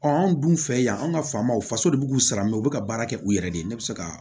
anw dun fɛ yan an ka faamaw faso de b'u sara mɛ u bɛ ka baara kɛ u yɛrɛ de ye ne bɛ se ka